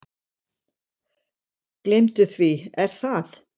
Gleymdu því Er það?